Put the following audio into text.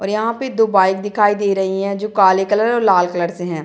और यहाँ पे दो बाइक दिखाई दे रहीं हैं जो काले कलर और लाल कलर से हैं।